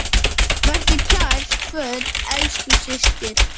Vertu kært kvödd, elsku systir.